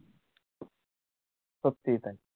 সত্যিই তাই